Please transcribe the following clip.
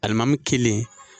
Alimami kelen.